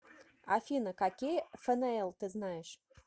афина какие фнл ты знаешь